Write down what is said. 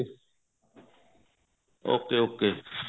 ok ok